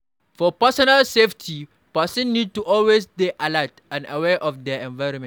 For personal safety person need to always dey alert and aware of their environment